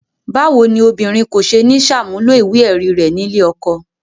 Báwo ni obìnrin kò ṣe ní ṣàmúlò ìwé-ẹ̀rí rẹ̀ nílé ọkọ?